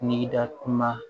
N'i da kuma